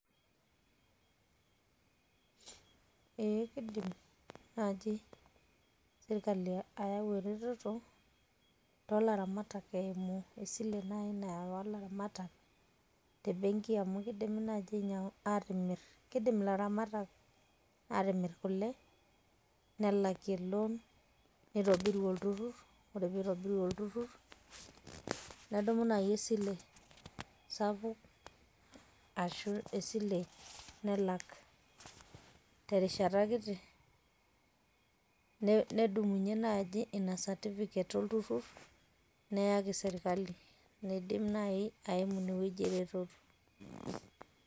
ee kidim naaji sirkali ayau eretoto toolaramatak, eimu esile naai nayau laramatak, tebenki amu kidimi naaji aatimir, kidim ilaramatak, aatimir kule nelakie loan nitobirie olturur, ore pee eitobirie olturur, nedumu naaji esile sapuk, ashu esile nelak, terishata kiti, nedumunye naaji ina certificate olturur neyaki sirkali, neidim naaji aimu ine wueji eretoto.